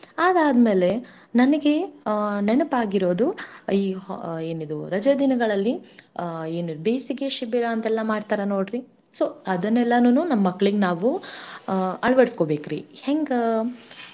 ಅದಾದ್ಮೇಲೆ ನನಗೆ ಅ ನೆನಪಾಗಿರೋದು ಈ ಅ ಏನಿದೂ ರಜೆ ದಿನಗಳಲ್ಲಿ ಅ ಏನು ಬೇಸಿಗೆ ಶಿಬಿರ ಅಂತೆಲ್ಲಾ ಮಾಡ್ತಾರ ನೋಡ್ರಿ so ಅದನ್ನೆಲ್ಲಾನುನೂ ನಮ್ ಮಕ್ಳಿಗ್ ನಾವು ಆ ಅಳವಡ್ಸ್ಕೋಬೇಕ್ರಿ ಹೆಂಗಾ?